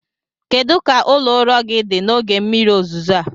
Kedu ka ụlọ ụrọ gị dị n'oge mmiri ozuzo a?